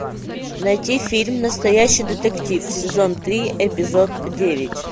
найти фильм настоящий детектив сезон три эпизод девять